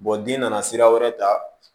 den nana sira wɛrɛ ta